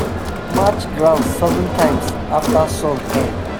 we go match ground seven times after song end.